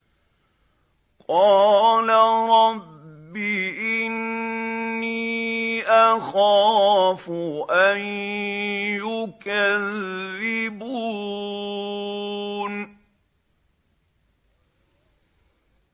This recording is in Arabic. قَالَ رَبِّ إِنِّي أَخَافُ أَن يُكَذِّبُونِ